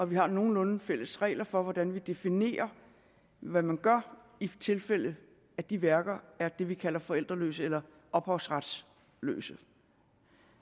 vi har nogenlunde fælles regler for hvordan vi definerer hvad man gør i tilfælde af at de værker er det vi kalder forældreløse eller ophavsretsløse